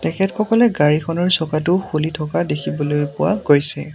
তেখেত সকলে গাড়ীখনৰ চকাটো খুলি থকা দেখিবলৈ পোৱা গৈছে।